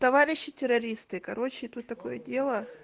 товарищи террористы короче тут такое дело